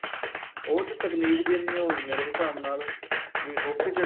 ਉਸ ਚ ਤਕਨੀਕ ਜਿੰਨੀ ਏ ਹੁਣ ਮੇਰੇ ਹਿਸਾਬ ਨਾਲ ਮੈ hockey ਦੇ ਤਾਂ